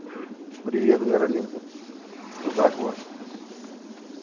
привет каролинка что как у вас